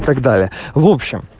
так далее в общем